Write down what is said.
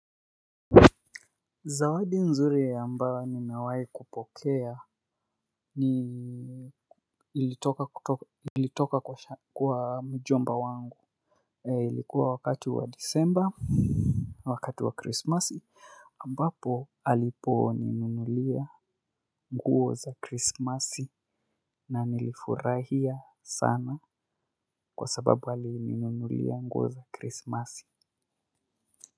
Zawadi nzuri ambayo nimewahi kupokea ni ilitoka kwa mjomba wangu. Ilikuwa wakati wa December wakati wa Christmas ambapo aliponinunulia nguo za Christmas na nilifurahia sana kwa sababu alininunulia nguo za Krisimasi.